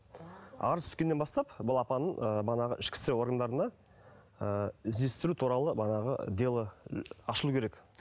арыз түскеннен бастап балапанын ы бағанағы ішкі істер органына ы іздестіру туралы манағы дело ашылу керек